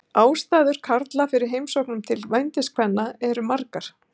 Ástæður karla fyrir heimsóknum til vændiskvenna eru margar.